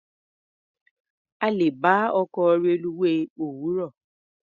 A lè bá ọkọ̀ reluwé òwúrọ̀.